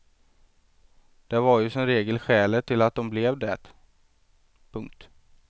Det var ju som regel skälet till att de blev det. punkt